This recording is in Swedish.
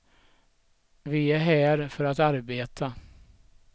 Vi är här för att arbeta.